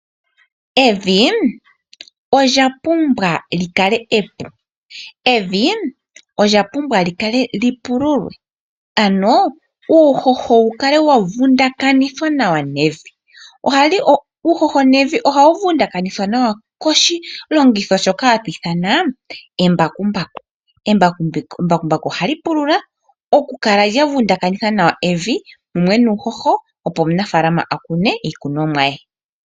Evi olya pumbwa li kale epu. Evi olya pumbwa okupululwa, opo uuhoho wu kale wa vundakanithwa nawa nevi. Uuhoho nevi ohawu vundakanithwa nawa koshilongitho shoka hashi ithanwa embakumbaku. Embakumbaku ohali pulula okukala lya vundakanitha nawa evi nuuhoho, opo omunafaalama a kune iikunomwa ye.